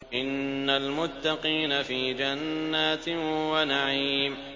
إِنَّ الْمُتَّقِينَ فِي جَنَّاتٍ وَنَعِيمٍ